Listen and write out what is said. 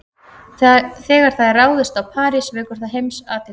Þegar það er ráðist á París vekur það heimsathygli.